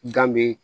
Dan bee